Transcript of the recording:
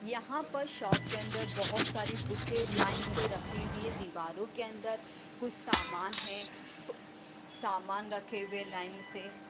यहाँ पर शॉप के अंदर बहुत सारी बुकें लाइन से रखी हुई हैं दीवारों के अंदर कुछ सामान हैं ब सामान रखे हुए लाइन से।